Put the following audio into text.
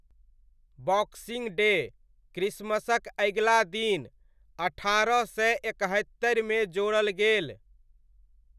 Boxing Day, क्रिसमसक अगिला दिन, अठारह सय एकहत्तरिमे जोड़ल गेल।